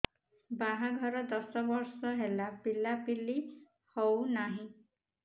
ବାହାଘର ଦଶ ବର୍ଷ ହେଲା ପିଲାପିଲି ହଉନାହି